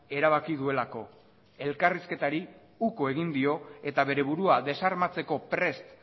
erabaki duelako elkarrizketari uko egin dio eta bere burua desarmatzeko prest